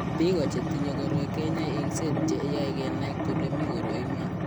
Biko chetinye koroi kenyae eng'set che yae kenai kole mi koroi iman.